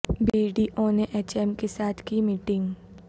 be D اونے H M کے ساتھ کی میٹنگ